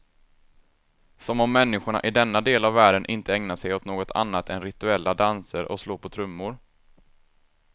Som om människorna i denna del av världen inte ägnar sig åt något annat än rituella danser och slå på trummor.